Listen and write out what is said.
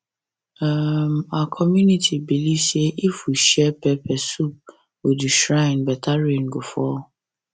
um our community believe say if we share pepper soup with the shrine better rain go fall